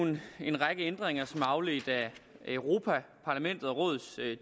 en række ændringer som er afledt af europa parlaments og rådets